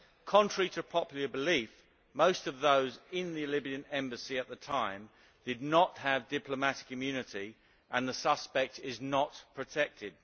Contrary to popular belief, most of those in the Libyan Embassy at the time did not have diplomatic immunity and the suspect is not protected.